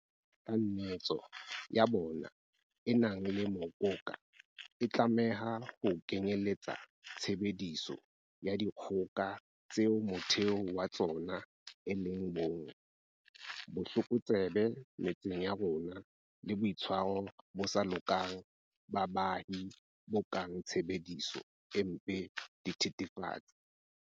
Kanetso ya bona e nang le mokoka e tlameha ho kenyeletsa tshebediso ya dikgoka tseo motheo wa tsona e leng bong, botlokotsebe metseng ya rona le boitshwaro bo sa lokang ba baahi bo kang tshebediso e mpe ya dithe thefatsi.